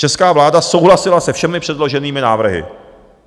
Česká vláda souhlasila se všemi předloženými návrhy.